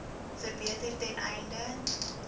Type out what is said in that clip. verbeter ten einde